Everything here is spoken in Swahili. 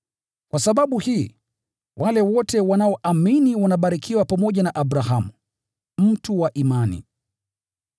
Kwa sababu hii, wale wote wanaoamini wanabarikiwa pamoja na Abrahamu, mtu wa imani.